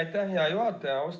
Aitäh, hea juhataja!